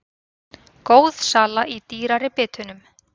Góð sala í dýrari bitunum